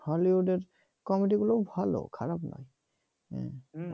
hollywood comedy গুলো ভালো খারাপ না হ্যাঁ